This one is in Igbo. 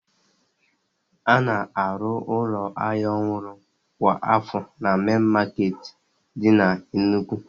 A na-arụ ụlọ ahịa ọhụrụ kwa afọ na mein maketi di na Enugu